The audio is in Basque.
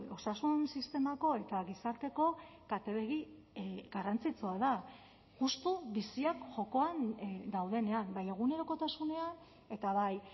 osasun sistemako eta gizarteko katebegi garrantzitsua da justu biziak jokoan daudenean bai egunerokotasunean eta bai